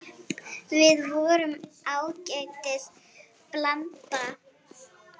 Við vorum ágætis blanda.